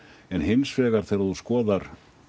en hins vegar þegar þú skoðar